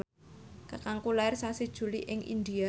kakangku lair sasi Juli ing India